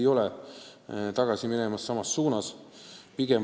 Ma loodan, et Eesti ei lähe selles suunas tagasi.